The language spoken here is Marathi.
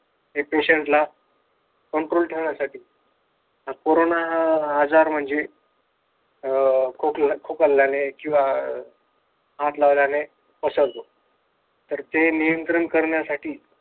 Pationt ला control ठेवण्यासाठी आजार म्हणजे खोकला खोकल्ल्याने किंवा हात लावण्याने पसरतो. ते नियंत्रण ठेवण्यासाठी